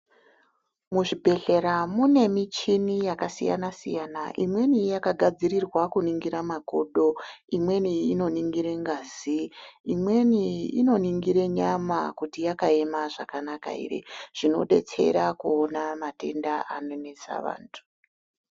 Muzvibhedhlera mune michini yakasiyana siyana imweni yakagadzirirwa kuningira makodo , imweni inoningire ngazi , imweni inoningire nyama kuti yakaema zvakanaka ere zvinodetsera kuona matenda anonetsa vantu .